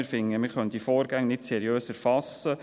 Wir finden, man könne diese Vorgänge nicht seriös erfassen.